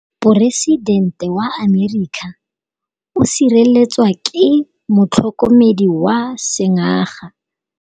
Poresitêntê wa Amerika o sireletswa ke motlhokomedi wa sengaga.